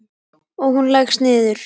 Og hún leggst niður.